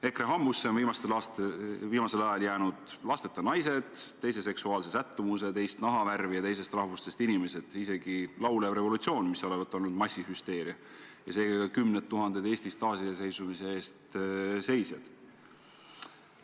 EKRE hambusse on viimasel ajal jäänud ka lasteta naised, teise seksuaalse sättumusega, teist nahavärvi ja teisest rahvusest inimesed, isegi laulev revolutsioon – mis olevat olnud massihüsteeria – ja seega ka kümned tuhanded Eesti taasiseseisvumise eest seisjad.